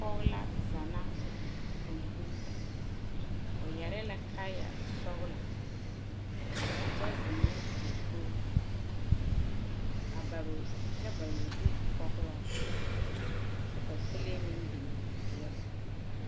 Poge la zana o komputa. O yɛre la kaaya sɔgla kyɛ zeŋ ne dakoge.A bare o kyɛ bare o zu koɔgloŋ. Kyɛ ka kole meŋ biŋ pieli oŋ